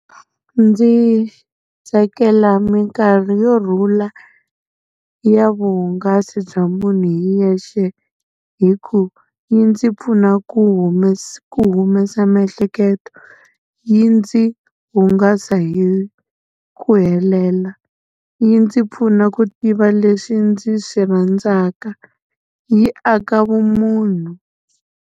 Ndzi tsakela minkarhi yo rhula ya vuhungasi bya munhu hi yexe, hi ku yi ndzi pfuna ku ku humesa miehleketo, yi ndzi hungasa hi ku helela, yi ndzi pfuna ku tiva leswi ndzi swi rhandzaka yi aka vumunhu.